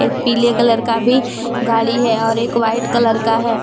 पीले कलर का भी गाड़ी है और एक वाइट कलर का है।